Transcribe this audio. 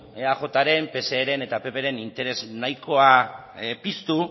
eajren pseren eta ppren interes nahikoa piztu